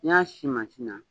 N y'a si mansi na